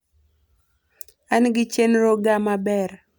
an gi chenro ga maber